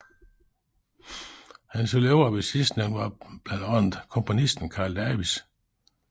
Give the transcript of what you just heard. Hans elever ved sidstnævnte var blandt andet komponisten Carl Davis